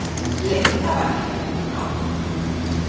Linda var hér ekki þá?